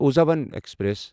اُزہاوان express